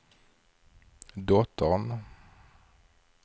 dottern